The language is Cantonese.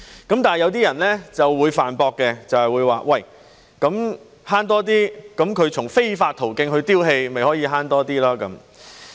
但是，一些人會駁斥說只要從非法途徑丟棄廢物，便可以"慳多啲"。